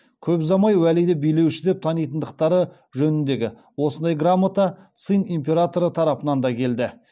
көп ұзамай уәлиді билеуші деп танитындықтары жөніндегі осындай грамота цин императоры тарапынан да келді